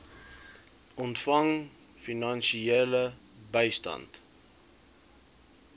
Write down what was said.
ontvang finansiële bystand